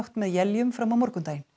með éljum fram á morgundaginn